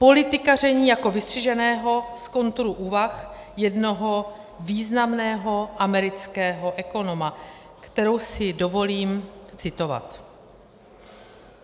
Politikaření jako vystřiženého z kontury úvah jednoho významného amerického ekonoma, kterou si dovolím citovat.